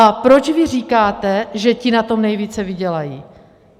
A proč vy říkáte, že ti na tom nejvíce vydělají?